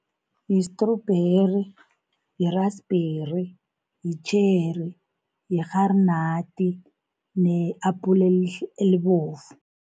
Yistrubheri, yirasibheri, yitjheri, yirharinadi ne-apula elibovu.